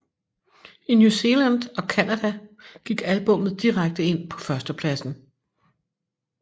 I New Zealand og Canada gik albummet direkte ind på førstepladsen